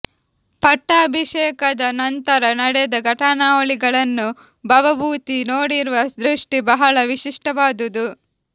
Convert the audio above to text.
ಪಟ್ಟಾಭಿಷೇಕದ ನಂತರ ನಡೆದ ಘಟನಾವಳಿಗಳನ್ನು ಭವಭೂತಿ ನೋಡಿರುವ ದೃಷ್ಟಿ ಬಹಳ ವಿಶಿಷ್ಟವಾದುದು